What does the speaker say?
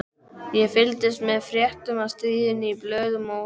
Ég fylgdist með fréttum af stríðinu í blöðunum og útvarpinu.